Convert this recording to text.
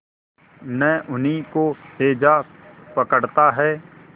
न उन्हीं को हैजा पकड़ता है